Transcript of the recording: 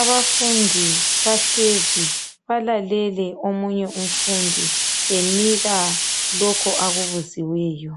Abafundi bahlezi balalele omunye umfundi enika lokhu akubuziweyo.